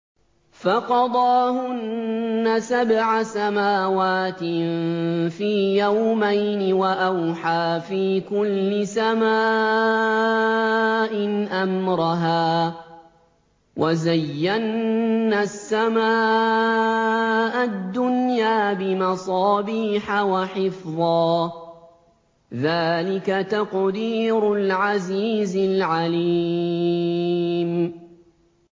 فَقَضَاهُنَّ سَبْعَ سَمَاوَاتٍ فِي يَوْمَيْنِ وَأَوْحَىٰ فِي كُلِّ سَمَاءٍ أَمْرَهَا ۚ وَزَيَّنَّا السَّمَاءَ الدُّنْيَا بِمَصَابِيحَ وَحِفْظًا ۚ ذَٰلِكَ تَقْدِيرُ الْعَزِيزِ الْعَلِيمِ